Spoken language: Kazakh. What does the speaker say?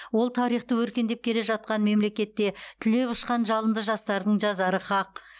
ол тарихты өркендеп келе жатқан мемлекетте түлеп ұшқан жалынды жастардың жазары хақ